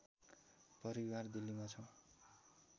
परिवार दिल्लीमा छौँ